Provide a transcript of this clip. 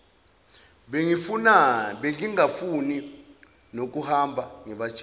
bengingafuni nokuhamba ngibatshele